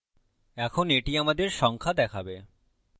এখন এটি আমাদের সংখ্যা দেখাবে